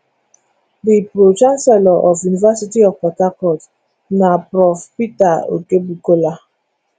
di pro chancellor of university of port harcourt na prof peter okebukola